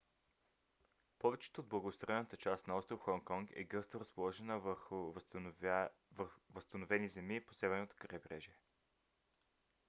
повечето от благоустроената част на остров хонконг е гъсто разположена върху възстановени земи по северното крайбрежие